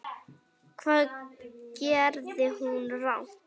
Hvað gerði hún rangt?